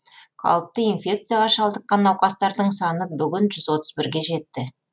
қауіпті инфекцияға шалдыққан науқастардың саны бүгін жүз отыз бірге жетті